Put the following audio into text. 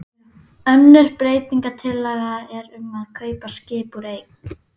Önnur breytingatillaga er um að kaupa skip úr eik.